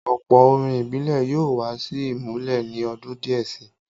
Ọ̀pọ̀ orin ìbílẹ̀ yóò wà sí ìmọ́lẹ̀ ní ọdún díẹ̀ si.